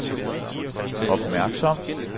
opmærksom